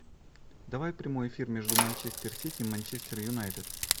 давай прямой эфир между манчестер сити и манчестер юнайтед